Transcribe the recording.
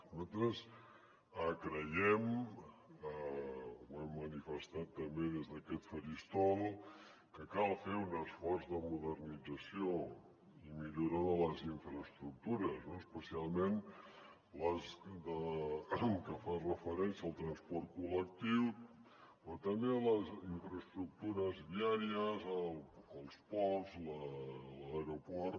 nosaltres creiem ho hem manifestat també des d’aquest faristol que cal fer un esforç de modernització i millora de les infraestructures especialment les que fan referència al transport col·lectiu però també les infraestructures viàries els ports l’aeroport